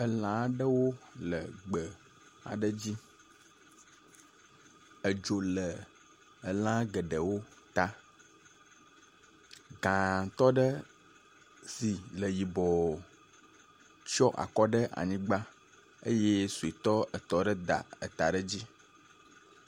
Elã aɖewo le gbe aɖe dzi. Edzo le lã geɖewo ta, gãtɔ aɖe si le yibɔ tsɔ akɔ ɖe anyigba eye suetɔ etɔ̃ ɖe da ta ɖe edzi.